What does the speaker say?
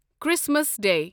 Christmas day